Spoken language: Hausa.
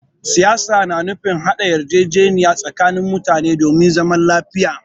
Siyasa na nufin haɗa yarjejeniya tsakanin mutane domin zaman lafiya.